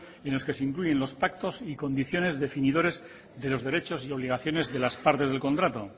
en los que se incluyen los pactos y condiciones definidores de los derechos y obligaciones de las partes del contrato